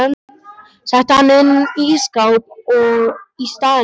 Setti hann inn í ísskáp í staðinn fyrir smjörið.